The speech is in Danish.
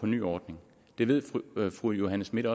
nye ordning det ved fru johanne schmidt